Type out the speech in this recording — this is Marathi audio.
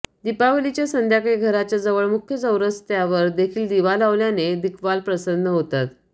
दीपावलीच्या संध्याकाळी घराच्या जवळ मुख्य चौरसत्यावर देखील दिवा लावल्याने दिग्पाल प्रसन्न होतात